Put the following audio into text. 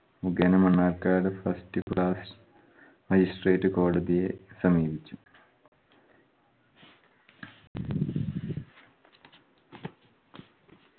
മുഖേന Mannarkkad first class magistrate കോടതിയെ സമീപിച്ചു.